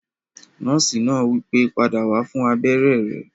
Nọ́ọ̀sì náà wípé, "padà wá fún abéré rẹ!"